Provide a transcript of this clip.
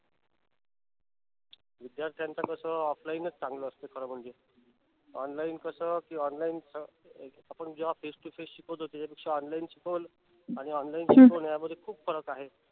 विध्यार्थ्यांचा तस offline च चांगलं असते खर म्हणजे online कस कि online आपण जेव्हा face to face शिकवतो त्याच्या पेक्षा online शिकून आणि online शिकवणे यामध्ये खूप फरक आहे.